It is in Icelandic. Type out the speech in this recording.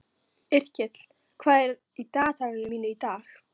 Yrkill, hvað er í dagatalinu mínu í dag?